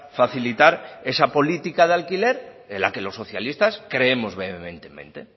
facilitar esa política de alquiler en la que los socialistas creemos vehementemente